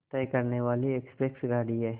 तय करने वाली एक्सप्रेस गाड़ी है